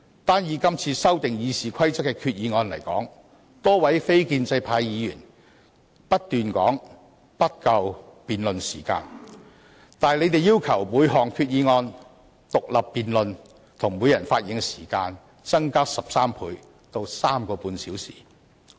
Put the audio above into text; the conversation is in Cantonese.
就這次修訂《議事規則》的議案而言，多位非建制派議員不斷說辯論時間不足，並要求就每項議案進行獨立辯論，以及每人的發言時間增加13倍至3個半小時。